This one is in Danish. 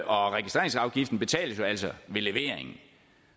og registreringsafgiften betales jo altså ved leveringen